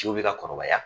Ciw bɛ ka kɔrɔbaya